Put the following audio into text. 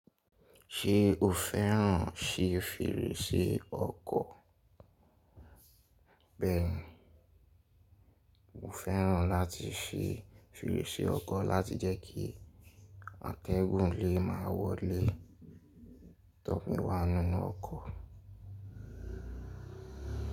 Ṣé o fẹ́ràn si fèrèsé ọkọ̀? Bẹ́ẹ̀ni, mo fẹ́ràn láti si fèrèsé ọkọ̀ láti jẹ́ kí àtẹ́gùn lé má wọlé tófi wa nínú ọkọ̀.